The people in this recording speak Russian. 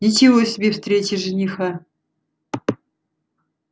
ничего себе встреча жениха